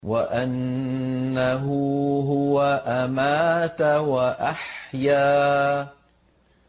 وَأَنَّهُ هُوَ أَمَاتَ وَأَحْيَا